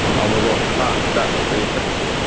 алло а да добрый вечер